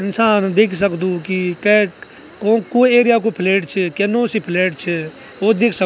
इंसान दिख सकदू की कैक कोंक कु एरिया कु फ्लैट च क्या नौ सी फ्लैट च वू दिख सक --